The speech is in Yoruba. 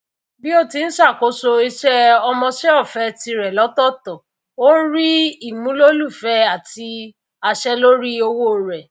bí ó ti ń ṣàkóso iṣẹ ọmọṣẹọfẹ tirẹ lọtọọtọ ó ń rí ìmúlòlùfẹ àti àṣẹ lórí owó rẹ